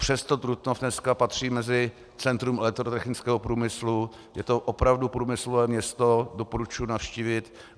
Přesto Trutnov dneska patří mezi centrum elektrotechnického průmyslu, je to opravdu průmyslové město, doporučuji navštívit.